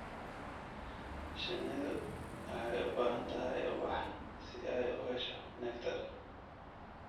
Shinnidu wexey u baahan tahy ubax si ay u hesho nectar.